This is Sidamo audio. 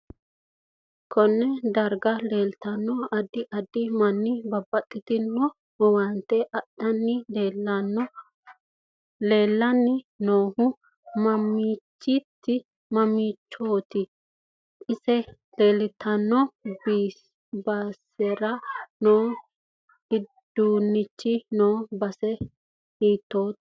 KOnne daraga leeltannno addi addi manni babbaxitino owaantw adhani leelani noohu mamiichooti insa leeltanno basera noo iduunichi noo base hitoote